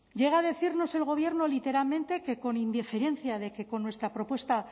llega a decirnos el gobierno literalmente que con indiferencia de que con nuestra propuesta